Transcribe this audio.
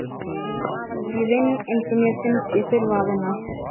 Ég vinn eins og mér finnst ég þurfa að vinna.